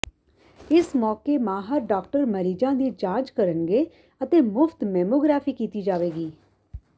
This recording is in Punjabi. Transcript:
ਇਸ ਮੌਕੇ ਮਾਹਰ ਡਾਕਟਰ ਮਰੀਜ਼ਾਂ ਦੀ ਜਾਂਚ ਕਰਨਗੇ ਅਤੇ ਮੁਫਤ ਮੈਮੋਗਰਾਫੀ ਕੀਤੀ ਜਾਵੇਗੀ